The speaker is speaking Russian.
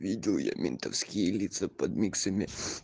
видел я ментовские лица под миксами